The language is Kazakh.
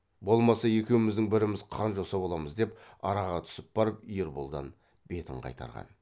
болмаса екеуміздің біріміз қан жоса боламыз деп араға түсіп барып ерболдан бетін қайтарған